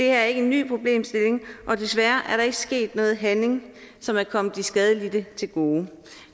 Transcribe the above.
er ikke en ny problemstilling og desværre er der ikke sket noget handling som er kommet de skadelidte til gode